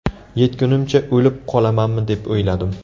Yetgunimcha o‘lib qolamanmi deb o‘yladim.